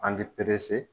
An bɛ